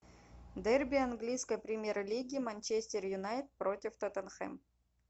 дерби английской премьер лиги манчестер юнайтед против тоттенхэм